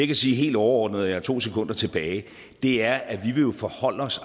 kan sige helt overordnet og jeg har to sekunder tilbage er at vi jo vil forholde os